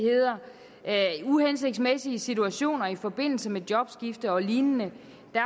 uhensigtsmæssige situationer i forbindelse med jobskifte og lignende